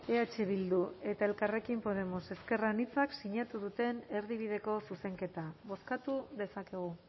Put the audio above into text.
eh bildu eta elkarrekin podemos ezker anitzak sinatu duten erdibideko zuzenketa bozkatu dezakegu